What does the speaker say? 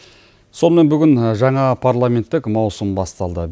сонымен бүгін жаңа парламенттік маусым басталды